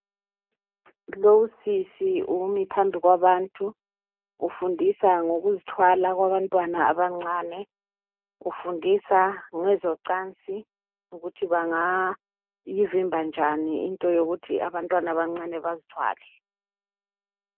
Lo usisi umiphambi kwabantu ufundisa ngokuzithwala kwabantwana abancane ufundisa ngezocansi ukuthi bangayivimba njani into yokuthi abantwana abancani bazithwale